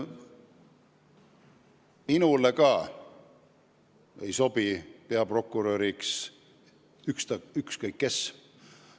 Minule ka ei sobi peaprokuröriks ükskõik kes.